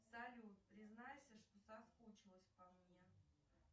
салют признайся что соскучилась по мне